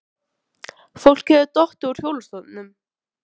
Þóra: Fólk hefur dottið út hjólastólum?